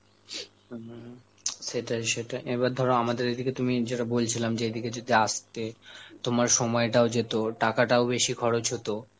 হম সেটাই সেটাই, এবার ধরো আমাদের এই দিকে তুমি যেটা বলছিলাম যে এইদিকে যদি আসতে, তোমার সময়টাও যেত, টাকাটাও বেশি খরচ হত,